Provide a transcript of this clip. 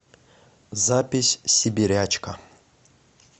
запись сибирячка